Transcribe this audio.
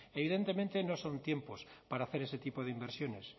evidentemente no son tiempos para hacer ese tipo de inversiones